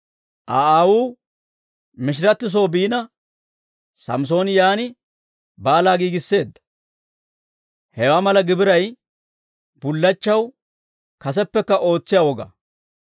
Aa aawuu mishiratti soo biina, Samssooni yaan baalaa giigisseedda. Hewaa mala gibiray bullachchaw kaseppekka ootsiyaa woga.